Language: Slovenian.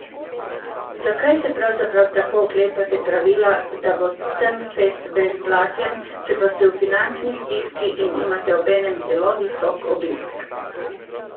Zakaj se pravzaprav tako oklepate pravila, da bo Trnfest brezplačen, če pa ste v finančni stiski in imate obenem zelo visok obisk?